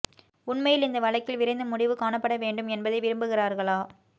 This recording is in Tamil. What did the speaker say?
உண்மையில் இந்த வழக்கில் விரைந்து முடிவு காணப்பட வேண்டும் என்பதை விரும்புகிறார்களா